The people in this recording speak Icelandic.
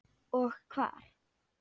Og hvar.